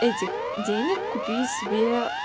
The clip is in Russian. этих денег купи себе